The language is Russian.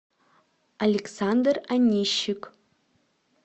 александр онищик